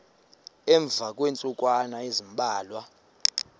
emva kweentsukwana ezimbalwa